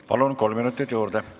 Palun, kolm minutit juurde!